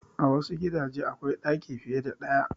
A wassu gidaje akwai ɗaki fiye da ɗaya